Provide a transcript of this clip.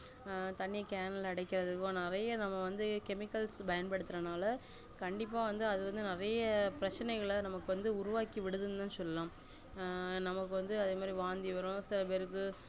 ஹான் தண்ணிய cane ல அடைக்கிறதுக்கும் நம்ம நெறைய நம்ம வந்து chemicals பயன்படுத்துரனா கண்டிப்பா வந்து நெறைய பிரச்ச்னைகள நம்மக்கு உருவாக்கிவிடுதுனுதான் சொல்லலாம ஆஹ் நம்மக்கு வந்து வாந்தி வரும் சில பேருக்கு